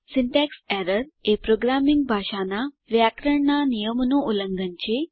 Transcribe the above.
syntax error એ programming ભાષા નાં વ્યાકરણનાં નિયમોનું ઉલ્લંઘન છે